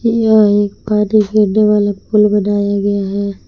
यह एक पानी गिरने वाला पुल बनाया गया है।